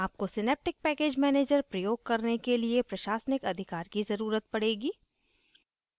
आपको synaptic package manager प्रयोग करने के लिए प्रशासनिक अधिकार की ज़रुरत पड़ेगी